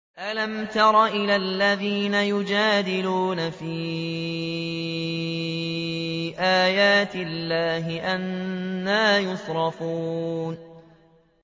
أَلَمْ تَرَ إِلَى الَّذِينَ يُجَادِلُونَ فِي آيَاتِ اللَّهِ أَنَّىٰ يُصْرَفُونَ